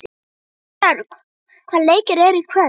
Ástbjörg, hvaða leikir eru í kvöld?